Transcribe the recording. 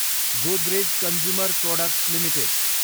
Godrej consumer products Ltd